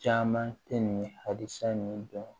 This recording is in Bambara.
Caman tɛ nin halisa nin dɔn